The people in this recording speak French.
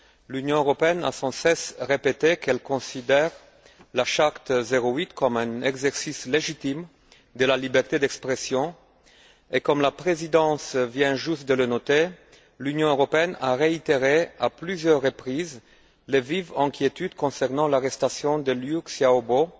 L'Union européenne a sans cesse répété qu'elle considérait la Charte 08 comme un exercice légitime de la liberté d'expression et, comme la présidence vient juste de le noter, l'Union européenne a réitéré, à plusieurs reprises, les vives inquiétudes concernant l'arrestation de Liu Xiaobo,